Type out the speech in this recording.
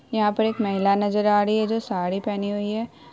यहाँ पर एक महिला नजर आ रही है जो साड़ी पहनी हुई है।